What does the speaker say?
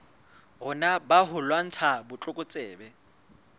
rona ba ho lwantsha botlokotsebe